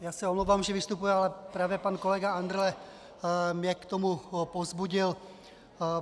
Já se omlouvám, že vystupuji, ale právě pan kolega Andrle mě k tomu povzbudil.